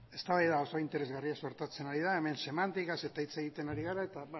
eztabaida oso interesgarria sortatzen ari da hemen semantikaz eta hitz egiten ari gara eta